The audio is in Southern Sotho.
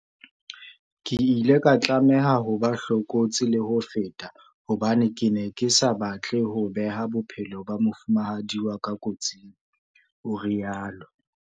"Ke ile ka tlameha ho ba hlokolosi le ho feta hobane ke ne ke sa batle ho beha bophelo ba mofumahadi wa ka kotsing," o rialo.